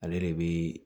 Ale de bi